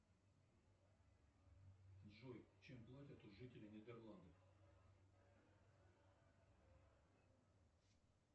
джой чем платят у жителей нидерландов